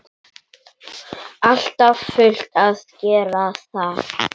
Alltaf fullt að gera þar!